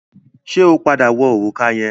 Ṣẹ́ ó padà wọ òrùka yẹn?